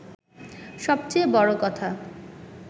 সবচেয়ে বড় কথা